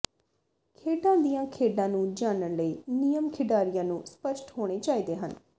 ਖੇਡਾਂ ਦੀਆਂ ਖੇਡਾਂ ਨੂੰ ਜਾਣਨ ਲਈ ਨਿਯਮ ਖਿਡਾਰੀਆਂ ਨੂੰ ਸਪਸ਼ਟ ਹੋਣੇ ਚਾਹੀਦੇ ਹਨ